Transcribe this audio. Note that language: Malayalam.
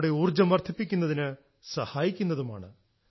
നമ്മുടെ ഊർജ്ജം വർദ്ധിപ്പിക്കുന്നതിന് സഹായിക്കുന്നതുമാണ്